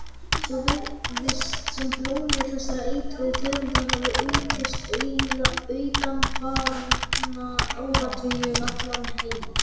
Svo virðist sem blómi þessara eitruðu tegunda hafi aukist undanfarna áratugi um allan heim.